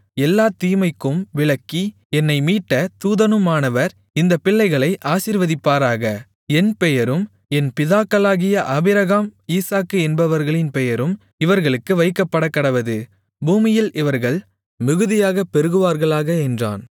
எல்லாத் தீமைக்கும் விலக்கி என்னை மீட்ட தூதனுமானவர் இந்தப் பிள்ளைகளை ஆசீர்வதிப்பாராக என் பெயரும் என் பிதாக்களாகிய ஆபிரகாம் ஈசாக்கு என்பவர்களின் பெயரும் இவர்களுக்கு வைக்கப்படக்கடவது பூமியில் இவர்கள் மிகுதியாகப் பெருகுவார்களாக என்றான்